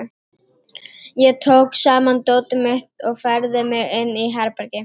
Ég tók saman dótið mitt og færði mig inn í herbergi.